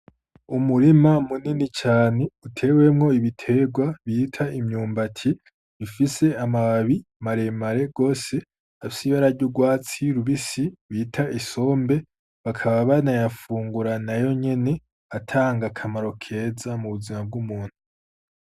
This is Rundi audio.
Umurima munini cane utewemwo ibiterwa bita imyumbati bifise amababi maremare rwose afyibarary' urwatsi rubisi bita isombe bakaba bana yafunguranayo nyene atanga akamaro keza mu buzima bw'umuntu.